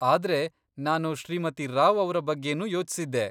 ಆದ್ರೆ, ನಾನು ಶ್ರೀಮತಿ ರಾವ್ ಅವ್ರ ಬಗ್ಗೆನೂ ಯೋಚ್ಸಿದ್ದೆ.